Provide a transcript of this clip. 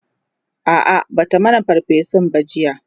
a'a Bata mana ferfesun ba jiya